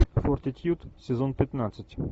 фортитьюд сезон пятнадцать